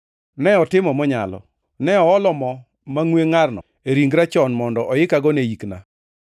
Ne otimo monyalo. Ne oolo mo mangʼwe ngʼarno e ringra chon mondo oikago ne ikna.